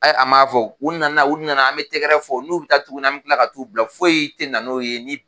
A a m'a fɔ u nana u nana an bɛ tɛgɛrɛ fɔ n'u bɛ taa tuguni an bɛ tila ka t'u bila foyi te na n'o ye